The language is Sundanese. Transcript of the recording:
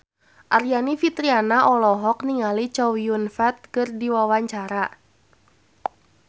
Aryani Fitriana olohok ningali Chow Yun Fat keur diwawancara